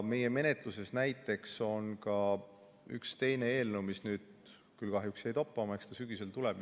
Menetluses on ka üks teine eelnõu, mis nüüd küll kahjuks jäi toppama, aga eks ta sügisel tuleb.